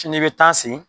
Sini i bɛ taa sen